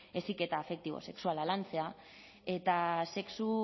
heziketa afektibo sexuala lantzea eta sexu